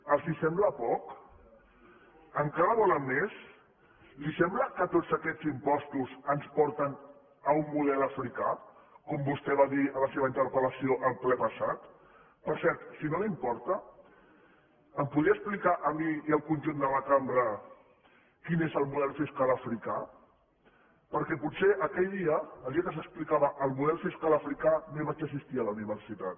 els sembla poc encara en volen més li sembla que tots aquests impostos ens porten a un model africà com vostè va dir en la seva interpel·lació en el ple passat per cert si no li importa ens podria explicar a mi i al conjunt de la cambra quin és el model fiscal africà perquè potser aquell dia el dia que s’explicava el model fiscal africà no hi vaig assistir a la universitat